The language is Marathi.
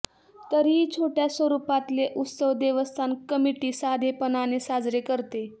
तरीही छोटया स्वरूपातले उत्सव देवस्थान कमिटी साधेपणाने साजरे करते